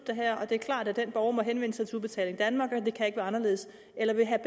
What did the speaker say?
det er klart at den borger må henvende sig til udbetaling danmark det kan ikke være anderledes eller vil herre